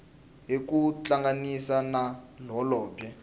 hi ku tihlanganisa na holobye